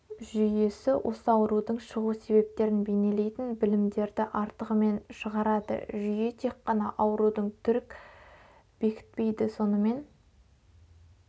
жүйесі осы аурудың шығу себептерін бейнелейтін білімдерді артығымен шығарады жүйе тек қана аурудың түрік бекітпейді сонымен